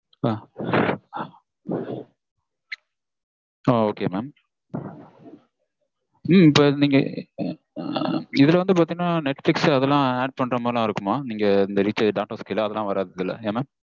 ஆஹ் ok mam உம் நீங்க இதுல வந்து பாத்தீங்கனா netflix அதெல்லாம் add பண்ற மாதிரிலாம் இருக்குமா? நீங்க இந்த recharge அதெல்லாம் வராது இதுல ஏ mam?